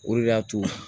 O de y'a to